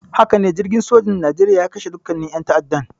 Hakane, jirgin sojan Nigeria ya kashe dukkannin ƴan ta'addan.